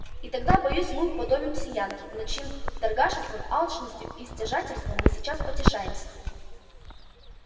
и тогда боюсь мы уподобимся янки над чьим торгашеством алчностью и стяжательством мы сейчас потешаемся